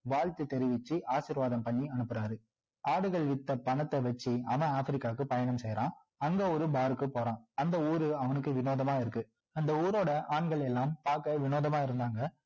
வாழ்த்து தெரிவிச்சு ஆரிர்வாதம் பண்ணி அனுப்புறாரு ஆடுகள் வித்த பணத்த வச்சி அவன் ஆப்பிரிக்காவுக்கு பயணம் செய்றான் அங்க ஒரு bar க்கு போறான் அந்த ஊரு அவனுக்கு வினோதமா இருக்கு அந்த ஊரோட ஆண்களெல்லாம் பார்க்க வினோதமா இருந்தாங்க